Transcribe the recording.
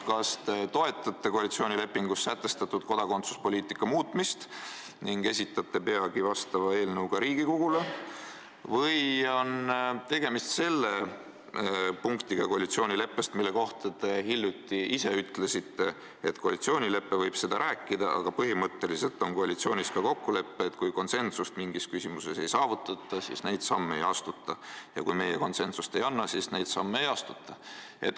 Kas te toetate koalitsioonilepingus sätestatud kodakondsuspoliitika muutmist ning esitate peagi sellel teemal eelnõu ka Riigikogule või on tegemist selle punktiga, mille kohta te hiljuti ise ütlesite, et koalitsioonileppes võib see olla, aga põhimõtteliselt on koalitsioonis ka kokkulepe, et kui mingis küsimuses konsensust ei saavutata, siis neid samme ei astuta, ja "kui meie konsensust ei anna, siis neid samme ei astuta".